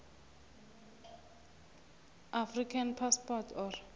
african passport or